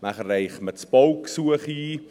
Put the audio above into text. Danach reicht man das Baugesuch ein.